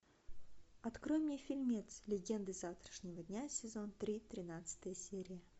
открой мне фильмец легенды завтрашнего дня сезон три тринадцатая серия